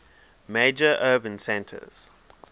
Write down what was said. major urban centers